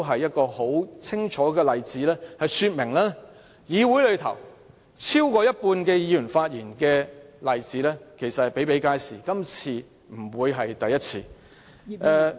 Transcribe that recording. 這清楚說明超過半數議員在二讀辯論時發言的例子比比皆是，今次不會是第一次。